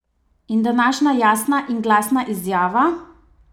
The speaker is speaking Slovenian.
In današnja jasna in glasna izjava?